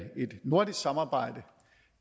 nordisk samarbejde